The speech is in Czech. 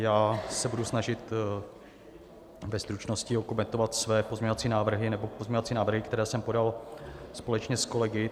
Já se budu snažit ve stručnosti okomentovat své pozměňovací návrhy, nebo pozměňovací návrhy, které jsem podal společně s kolegy.